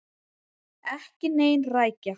Ekki ein rækja.